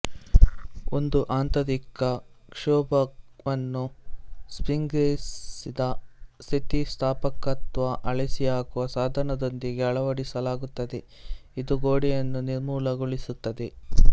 ಒಂದು ಆಂತರಿಕ ಕ್ಷೋಭಕವನ್ನು ಸ್ಪ್ರಿಂಗ್ಸೇರಿಸಿದ ಸ್ಥಿತಿಸ್ಥಾಪಕತ್ವ ಅಳಿಸಿ ಹಾಕುವ ಸಾಧನದೊಂದಿಗೆ ಅಳವಡಿಸಲಾಗುತ್ತದೆ ಇದು ಗೋಡೆಯನ್ನು ನಿರ್ಮೂಲಗೊಳಿಸುತ್ತದೆ